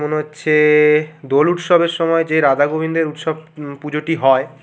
মনে হচ্ছে এএ দোল উৎসবের সময় যে রাধা গোবিন্দের উৎসবে উ পুজোটি হয়।